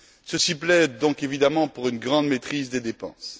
Cela plaide donc évidemment pour une grande maîtrise des dépenses.